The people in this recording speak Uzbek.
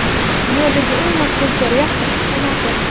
Dunyodagi eng maftunkor yaxta hashamati .